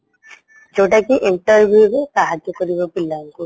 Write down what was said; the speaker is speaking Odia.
ଯୋଉଟାକି interview ରୁ ସାହାଯ୍ୟ କରିବା ପିଲାଙ୍କୁ